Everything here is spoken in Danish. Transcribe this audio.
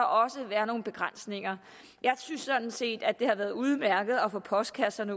også være nogle begrænsninger jeg synes sådan set det har været udmærket at få postkassen